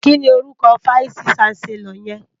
Kini órúkò fáìsí ṣánsèlòr yèn?